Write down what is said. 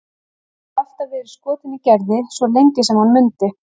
Hann hafði alltaf verið skotinn í Gerði, svo lengi sem hann mundi.